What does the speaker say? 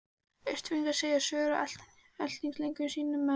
Austfirðing segja sögur af eltingaleik sínum við enska Koll.